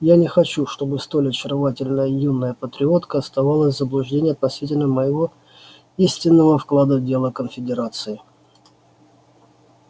я не хочу чтобы столь очаровательная юная патриотка оставалась в заблуждении относительно моего истинного вклада в дело конфедерации